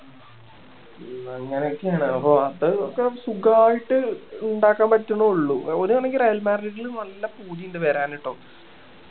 അങ്ങനൊക്കെയാണ് അപ്പൊ അത് ഒക്കെ സുഖായിട്ട് ഇണ്ടാക്കാൻ പറ്റണേ ഒള്ളു ഒരു കണക്കിന് റയൽ മാഡ്രിഡില് നല്ല പൂതി ഇണ്ട് വരാന് കേട്ടോ